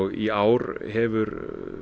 í ár hefur